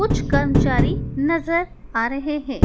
कुछ कर्मचारी नजर आ रहे हैं।